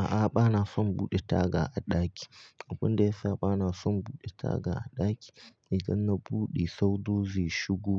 A'a, bana son buɗe taga a ɗaki. Abunda yasa bana son buɗe taga a ɗaki, i danna buɗe sau ro zai shigo